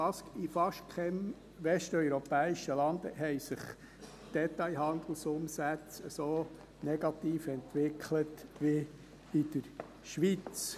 In fast keinem westeuropäischen Land haben sich die Detailhandelsumsätze so negativ entwickelt wie in der Schweiz.